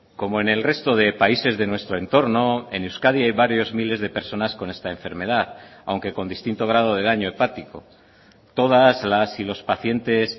como en el resto de países de nuestro entorno en euskadi hay varios miles de personas con esta enfermedad aunque con distinto grado de daño hepático todas las y los pacientes